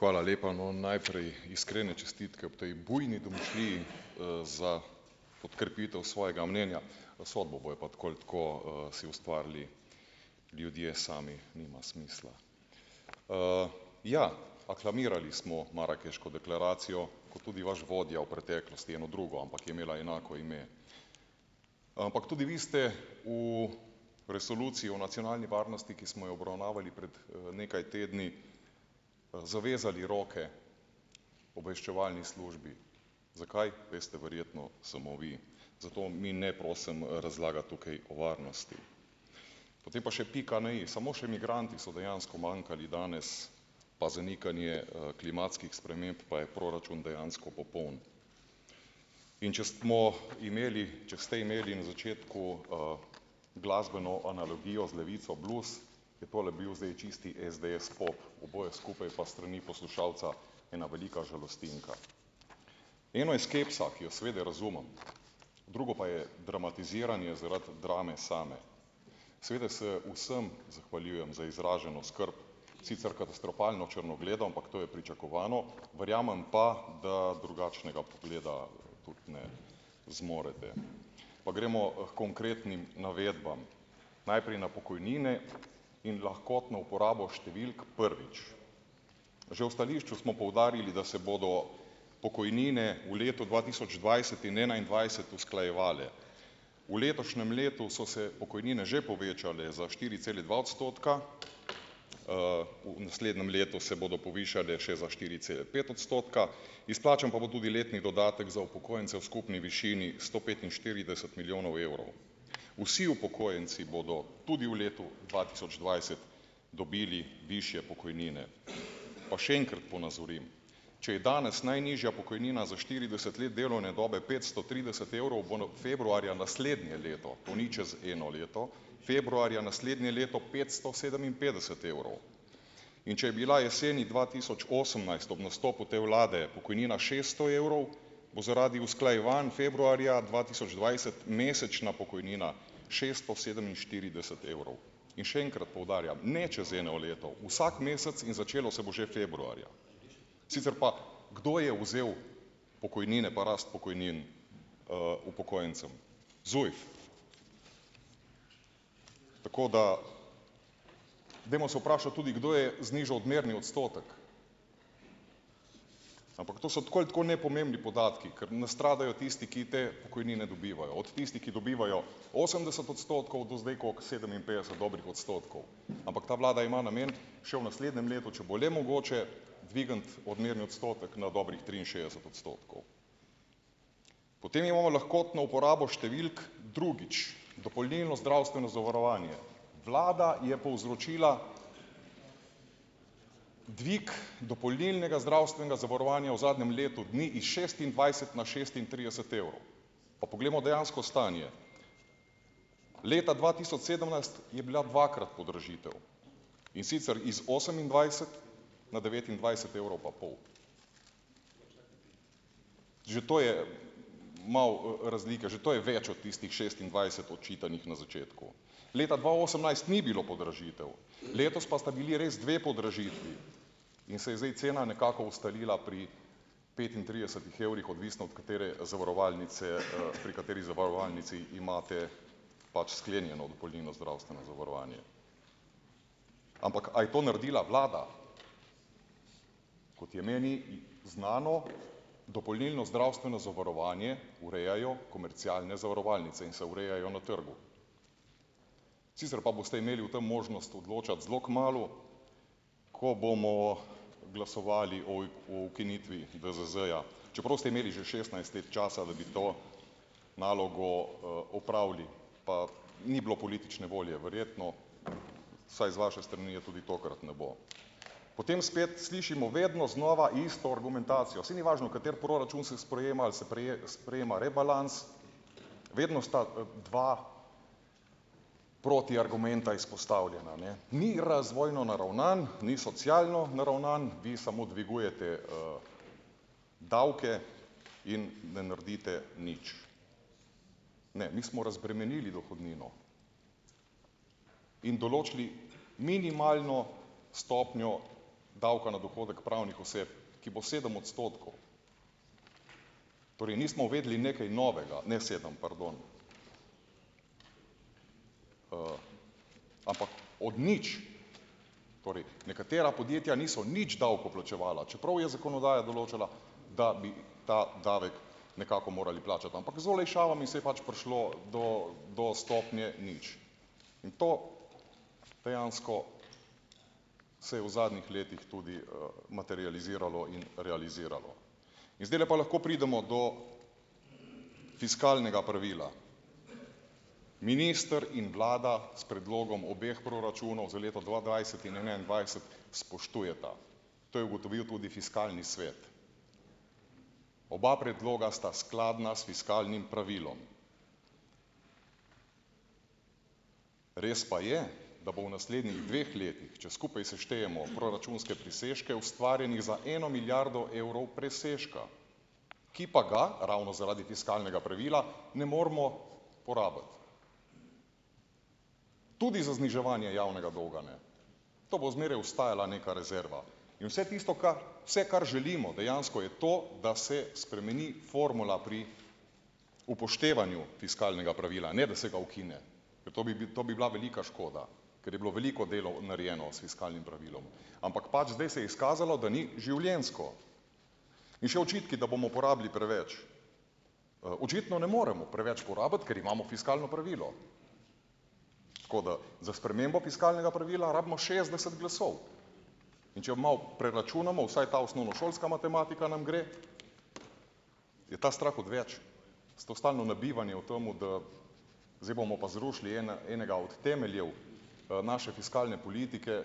Hvala lepa, no, najprej iskrene čestitke ob tej bujni domišljiji, za podkrepitev svojega mnenja, no, sodbo bojo pa tako ali tako si ustvarili ljudje sami, nima smisla, ja, aklamirali smo Marakeško deklaracijo, kot tudi vaš vodja v preteklosti eno drugo, ampak je imela enako ime, ampak tudi vi ste v resoluciji o nacionalni varnosti, ki smo jo obravnavali pred nekaj tedni, zavezali roke obveščevalni službi, zakaj, veste verjetno samo vi, zato mi ne prosim razlagati tukaj o varnosti, potem pa še pika na i, samo še migranti so dejansko manjkali danes pa zanikanje klimatskih sprememb, pa je proračun dejansko popoln, in če smo imeli, če ste imeli na začetku, glasbeno analogijo z Levico blues, je tole bil zdaj čisti SDS pop, oboje skupaj pa strani poslušalca ena velika žalostinka, eno je skepsa, ki jo seveda razumem, drugo pa je dramatiziranje zaradi drame same, seveda se vsem zahvaljujem za izraženo skrb, sicer katastrofalno črnogledo, ampak to je pričakovano, verjamem pa, da drugačnega pogleda, zmorete, pa gremo h konkretnim navedbam, najprej na pokojnine in lahkotno uporabo številk, prvič, že v stališču smo poudarili, da se bodo pokojnine v letu dva tisoč dvajset in enaindvajset usklajevale, v letošnjem letu so se pokojnine že povečale za štiri cele dva odstotka, v naslednjem letu se bodo povišale še za štiri cele pet odstotka, izplačan pa bo tudi letni dodatek za upokojence v skupni višini sto petinštirideset milijonov evrov, vsi upokojenci bodo tudi v letu dva tisoč dvajset dobili višje pokojnine, pa še enkrat ponazorim, če je danes najnižja pokojnina za štirideset let delovne dobe petsto trideset evrov, bo na februarja naslednje leto, to ni čez eno leto, februarja naslednje leto petsto sedeminpetdeset evrov, in če je bila jeseni dva tisoč osemnajst ob nastopu te vlade pokojnina šeststo evrov, bo zaradi usklajevanj februarja dva tisoč dvajset mesečna pokojnina šesto sedeminštirideset evrov, in še enkrat poudarjam, ne čez eno leto, vsak mesec, in začelo se bo že februarja, sicer pa, kdo je vzel pokojnine pa rast pokojnin, upokojencem? ZUJF. Tako da dajmo se vprašati tudi, kdo je znižal odmerni odstotek, ampak to so tako ali tako nepomembni podatki, ker nastradajo tisti, ki te pokojnine dobivajo od tistih, ki dobivajo osemdeset odstotkov do zdaj koliko sedeminpetdeset dobrih odstotkov, ampak ta vlada ima namen še v naslednjem letu, če bo le mogoče, dvigniti odmerni odstotek na dobrih triinšestdeset odstotkov, potem imamo lahkotno uporabo številk, drugič, dopolnilno zdravstveno zavarovanje, vlada je povzročila dvig dopolnilnega zdravstvenega zavarovanja v zadnjem letu dni s šestindvajset na šestintrideset evrov, pa poglejmo dejansko stanje, leta dva tisoč sedemnajst je bila dvakrat podražitev, in sicer iz osemindvajset na devetindvajset evrov pa pol, že to je malo razlike, že to je več od tistih šestindvajset očitanih na začetku, leta dva osemnajst ni bilo podražitev, letos pa sta bili res dve podražitvi, in se je zdaj cena nekako ustalila pri petintridesetih evrih, odvisno od katere zavarovalnice, pri kateri zavarovalnici imate pač sklenjeno dopolnilno zdravstveno zavarovanje. Ampak a je to naredila vlada? Kot je meni znano, dopolnilno zdravstveno zavarovanje urejajo komercialne zavarovalnice in se urejajo na trgu, sicer pa boste imeli o tem možnost odločati zelo kmalu, ko bomo glasovali o o ukinitvi VZZ-ja, čeprav ste imeli že šestnajst let časa, da bi to nalogo, opravili, pa ni bilo politične volje verjetno, saj z vaše strani je tudi tokrat ne bo, potem spet slišimo vedno znova isto argumentacijo, saj ni važno, kateri proračun se sprejema ali se sprejema rebalans, vedno sta dva proti argumenta izpostavljena, ne, ni razvojno naravnan, ni socialno naravnan, vi samo dvigujete, davke in ne naredite nič, ne, mi smo razbremenili dohodnino in določili minimalno stopnjo davka na dohodek pravnih oseb, ki bo sedem odstotkov, torej mi smo vedeli nekaj novega, ne, sedem pardon, ampak od nič, torej nekatera podjetja niso nič davkov plačevala, čeprav je zakonodaja določala, da bi ta davek nekako morali plačati, ampak z olajšavami se je pač prišlo do do stopnje nič in to dejansko se je v zadnjih letih tudi, materializiralo in realiziralo in zdajle pa lahko pridemo do fiskalnega pravila, minister in vlada s predlogom obeh proračunov za leto dva dvajset in enaindvajset spoštujeta, to je ugotovil tudi fiskalni svet, oba predloga sta skladna s fiskalnim pravilom, res pa je da bo v naslednjih dveh letih, če skupaj seštejemo proračunske presežke, ustvarjenega za eno milijardo evrov presežka, ki pa ga ravno zaradi fiskalnega pravila ne moremo porabiti tudi za zniževanje javnega dolga, ne, to bo zmeraj ostajala neka rezerva in se tisto, kar, vse, kar želimo dejansko, je to, da se spremeni formula pri upoštevanju fiskalnega pravila, ne da se ga ukine, to bi to bi bila velika škoda, ker je bilo veliko delo narejeno s fiskalnim pravilom, ampak pač zdaj se je izkazalo, da ni življenjsko, in še očitki, da bomo porabili preveč, očitno ne moremo preveč porabiti, ker imamo fiskalno pravilo, tako da za spremembo fiskalnega pravila rabimo šestdeset glasov, in če malo preračunamo, vsaj ta osnovnošolska matematika nam gre, je ta strah odveč, s to stalno nabijanje o tem, da zdaj bomo pa zrušili enega od temeljev, naše fiskalne politike